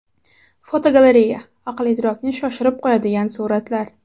Fotogalereya: Aql-idrokni shoshirib qo‘yadigan suratlar.